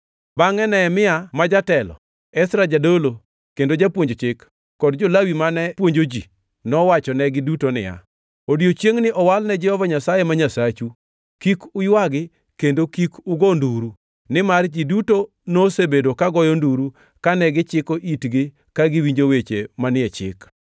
Bangʼe Nehemia ma jatelo, Ezra jadolo kendo japuonj chik, kod jo-Lawi mane puonjo ji nowachonegi duto niya, “Odiechiengni owal ne Jehova Nyasaye ma Nyasachu. Kik uywagi kendo kik ugo nduru.” Nimar ji duto nosebedo ka goyo nduru kane gichiko itgi ka giwinjo weche manie Chik.